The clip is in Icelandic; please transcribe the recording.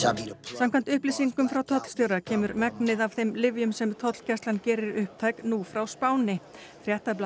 samkvæmt upplýsingum frá tollstjóra kemur megnið af þeim lyfjum sem tollgæslan gerir upptæk nú frá Spáni